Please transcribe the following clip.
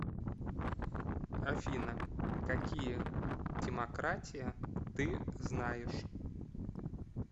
афина какие тимократия ты знаешь